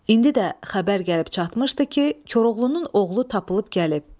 İndi də xəbər gəlib çatmışdı ki, Koroğlunun oğlu tapılıb gəlib.